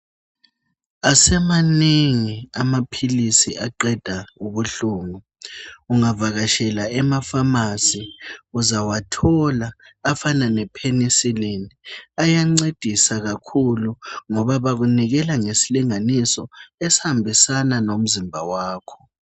Asemanengi amaphilizi aqeda ubuhlungu. Ungavakatshela emapharmacy uzawathola afana lephenisiline ayancedisa kakhulu ngoba bakunikela ngesilinganiso esihambisana lomzimba wakho.